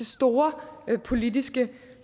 store politiske